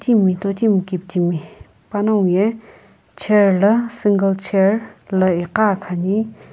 totimi kitimi panaguo ye chair la single chair lii igha khani.